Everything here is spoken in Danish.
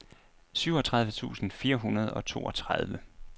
syvogtredive tusind fire hundrede og toogtredive